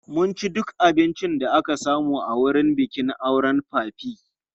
Mun ci duk abincin da aka samu a wurin bikin auren papi.